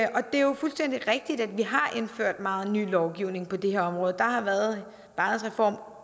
det er jo fuldstændig rigtigt at vi har indført meget ny lovgivning på det her område der har været barnets reform